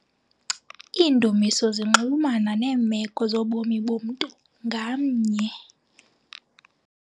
Iindumiso zinxulumana neemeko zobomi bomntu ngamnye.